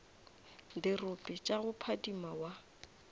dirope tša go phadima wa